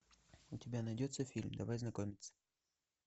у тебя найдется фильм давай знакомиться